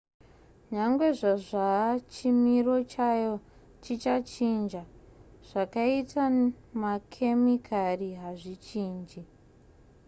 nyangwe zvazva chimiro chayo chingachinja zvakaita makemikari hazvichinji